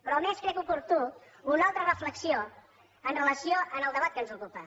però a més crec oportuna una altra reflexió amb relació al debat que ens ocupa